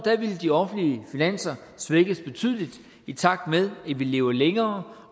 ville de offentlige finanser svækkes betydeligt i takt med at vi lever længere